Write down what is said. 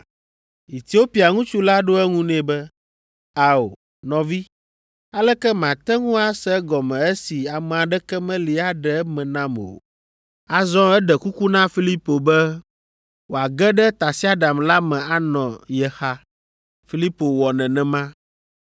Etiopia ŋutsu la ɖo eŋu nɛ be, “Ao, nɔvi, aleke mate ŋu ase egɔme esi ame aɖeke meli aɖe eme nam o?” Azɔ eɖe kuku na Filipo be wòage ɖe tasiaɖam la me anɔ ye xa. Filipo wɔ nenema.